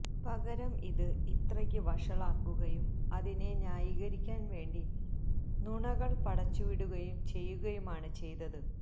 പകരം ഇത് ഇത്രക്ക് വഷളാക്കുകയും അതിനെ ന്യായീകരിക്കാന് വേണ്ടി നുണകള് പടച്ച് വിടുകയും ചെയ്യുകയുമാണ് ചെയ്തത്